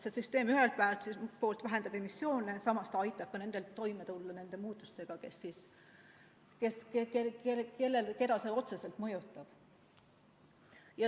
See süsteem ühelt poolt vähendab emissioone ja samas aitab neil, keda see otseselt mõjutab, toime tulla.